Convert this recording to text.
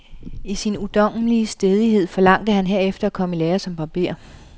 I sin ungdommelige stædighed forlangte han herefter at komme i lære som barber.